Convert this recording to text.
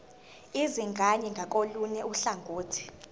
izingane ngakolunye uhlangothi